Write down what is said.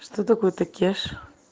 что такое покажи